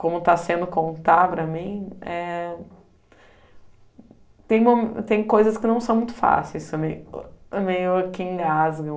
Como está sendo contar para mim, eh tem mo tem coisas que não são muito fáceis, que meio que engasgam,